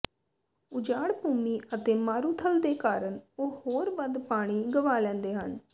ਉਜਾੜ ਭੂਮੀ ਅਤੇ ਮਾਰੂਥਲ ਦੇ ਕਾਰਨ ਉਹ ਹੋਰ ਵੱਧ ਪਾਣੀ ਗਵਾ ਲੈਂਦੇ ਹਨ